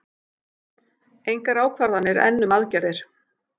Engar ákvarðanir enn um aðgerðir